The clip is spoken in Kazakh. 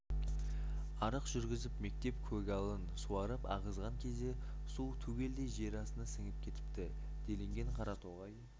арық жүргізіп мектеп көгалын суарып ағызған кезде су түгелдей жер астына сіңіп кетіпті делінген қаратоғай